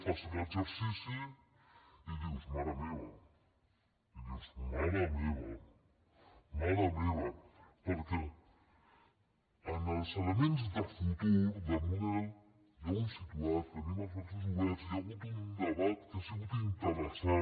fas l’exercici i dius mare meva i dius mare meva mare meva perquè en els elements de futur de model ja ho hem situat tenim els braços oberts hi ha hagut un debat que ha sigut interessant